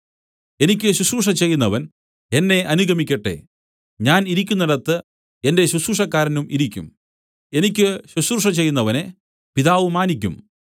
എനിക്ക് ശുശ്രൂഷ ചെയ്യുന്നവൻ എന്നെ അനുഗമിക്കട്ടെ ഞാൻ ഇരിക്കുന്നിടത്ത് എന്റെ ശുശ്രൂഷക്കാരനും ഇരിക്കും എനിക്ക് ശുശ്രൂഷ ചെയ്യുന്നവനെ പിതാവ് മാനിയ്ക്കും